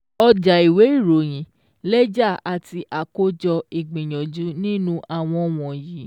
ọjàìwé ìròyìn, lẹ́jà àti àkójọ ìgbìyànjú nínú àwọn wọ̀nyí